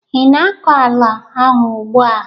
ị na-akọ ala ahụ ugbu a?